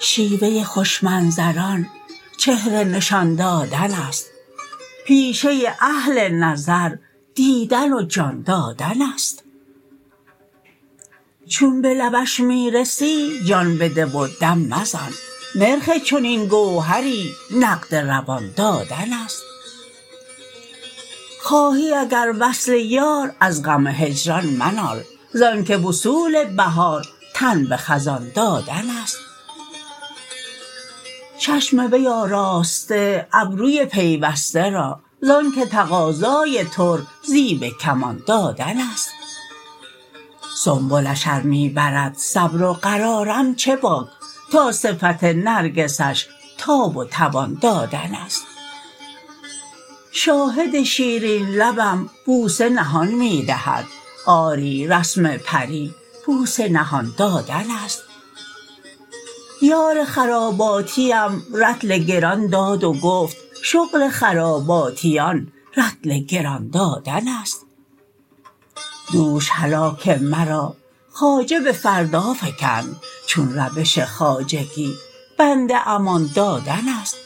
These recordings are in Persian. شیوه خوش منظران چهره نشان دادن است پیشه اهل نظر دیدن و جان دادن است چون به لبش می رسی جان بده و دم مزن نرخ چنین گوهری نقد روان دادن است خواهی اگر وصل یار از غم هجران منال ز آن که وصول بهار تن به خزان دادن است چشم وی آراسته ابروی پیوسته را زان که تقاضای ترک زیب کمان دادن است سنبلش ار می برد صبر و قرارم چه باک تا صفت نرگسش تاب و توان دادن است شاهد شیرین لبم بوسه نهان می دهد آری رسم پری بوسه نهان دادن است یار خراباتیم رطل گران داد و گفت شغل خراباتیان رطل گران دادن است دوش هلاک مرا خواجه به فردا فکند چون روش خواجگی بنده امان دادن است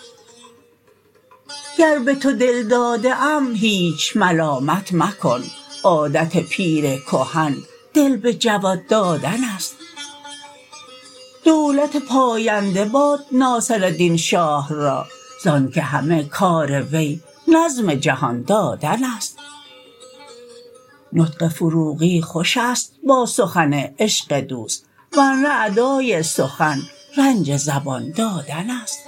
گر به تو دل داده ام هیچ ملامت مکن عادت پیر کهن دل به جوان دادن است دولت پاینده باد ناصردین شاه را زان که همه کار وی نظم جهان دادن است نطق فروغی خوش است با سخن عشق دوست ورنه ادای سخن رنج زبان دادن است